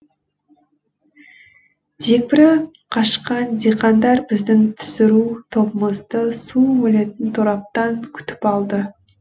дегбірі қашқан диқандар біздің түсіру тобымызды су бөлетін тораптан күтіп алды